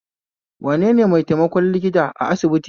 Wanene maitaimakon likita a asibiti?